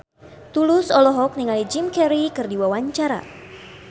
Tulus olohok ningali Jim Carey keur diwawancara